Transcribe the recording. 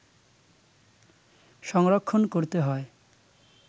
সংরক্ষণ করতে হয়